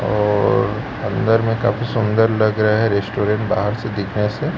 और अंदर में काफी सुंदर लग रहा है रेस्टोरेंट बाहर से देखने से--